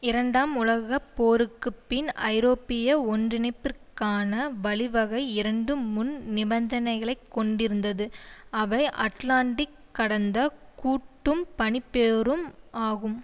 இரண்டாம் உலக போருக்கு பின் ஐரோப்பிய ஒன்றிணைப்பிற்கான வழிவகை இரண்டு முன் நிபந்தனைகளைக் கொண்டிருந்தது அவை அட்லான்டிக் கடந்த கூட்டும் பனிப்போரும் ஆகும்